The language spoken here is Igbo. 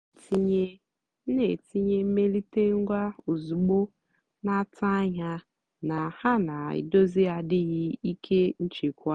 m nà-ètìnyé m nà-ètìnyé mmèlíté ngwá ózùgbó nà-àtụ́ ányá nà hà nà-èdózì àdìghị́ íké nchèkwà.